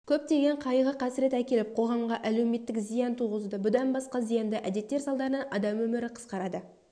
көптеген қайғы-қасірет әкеліп қоғамға әлеуметтік зиян туғызуда бұдан басқа зиянды әдеттер салдарынан адам өмірі қысқарады